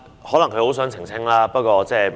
可能她很想澄清，這不要緊。